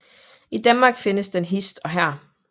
I Danmark findes den hist og her